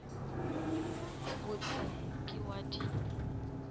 bot se ke wa di